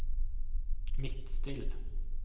Midtstill